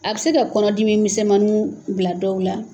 A bɛ se ka kɔnɔ dimi misɛnmaninw bila dɔw la.